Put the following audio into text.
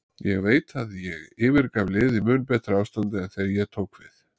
Ég veit að ég yfirgaf liðið í mun betra ástandi en þegar ég tók við.